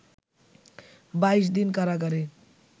২২ দিন কারাগারে